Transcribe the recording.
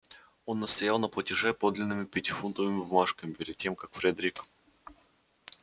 он настоял на платеже подлинными пятифунтовыми бумажками перед тем как фредерик